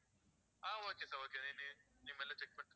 ஆஹ் okay sir okay sir நீங்க மெல்ல check பண்ணிட்டு சொல்லுங்க.